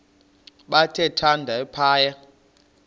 bathe thande phaya